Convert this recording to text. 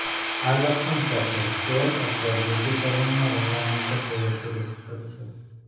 આ લક્ષણ સાથે સ્ટોર અથવા બ્યુટી સલૂનમાં રમવા માટે તે વધુ રસપ્રદ છે